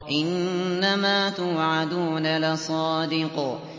إِنَّمَا تُوعَدُونَ لَصَادِقٌ